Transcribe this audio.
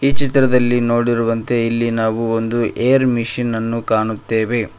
ಈ ಚಿತ್ರದಲ್ಲಿ ನೋಡಿರುವಂತೆ ಇಲ್ಲಿ ನಾವು ಒಂದು ಏರ್ ಮಿಷನ್ ಅನ್ನು ಕಾಣುತ್ತೇವೆ.